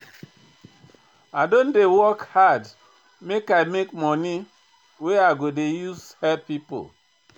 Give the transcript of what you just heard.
I don dey work hard make I make moni wey I go use help pipo.